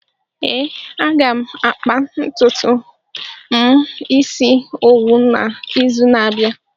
Ee, aga m akpa ntutu m isi owu n'izu n'abịa.